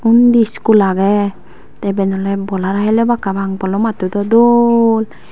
undi school aagey tay eban olay bolhara halabak papang bolomattow do doll.